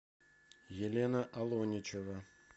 елена алоничева